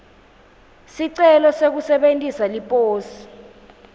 sicelo sekusebentisa liposi